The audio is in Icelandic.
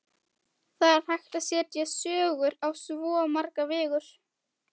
Það er hægt að segja sögur á svo marga vegu.